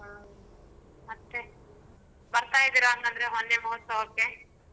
ಹ್ಮ್ ಮತ್ತೆ ಬರ್ತಾಇದೀರ ಹಂಗಂದ್ರೆ ವನ್ಯಮಹೋತ್ಸವಕ್ಕೆ.